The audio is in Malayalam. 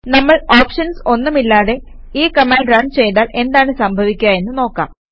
നമ്മൾ ഓപ്ഷൻസ് ഒന്നുമില്ലാതെ ഈ കമാൻഡ് റണ് ചെയ്താൽ എന്താണ് സംഭവിക്കുക എന്ന് നോക്കാം